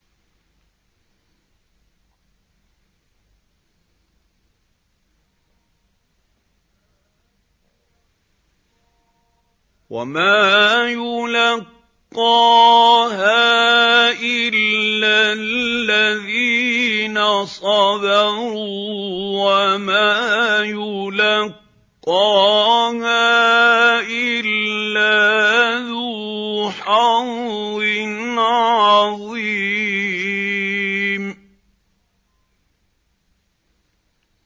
وَمَا يُلَقَّاهَا إِلَّا الَّذِينَ صَبَرُوا وَمَا يُلَقَّاهَا إِلَّا ذُو حَظٍّ عَظِيمٍ